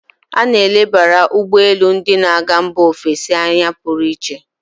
A na-elebara ugbọ elu ndị na-aga mba ofesi anya pụrụ iche.